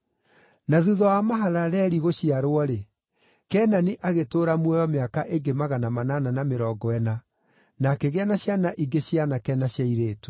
Na thuutha wa Mahalaleli gũciarwo-rĩ, Kenani agĩtũũra muoyo mĩaka ĩngĩ magana manana na mĩrongo ĩna, na akĩgĩa na ciana ingĩ cia aanake na cia airĩtu.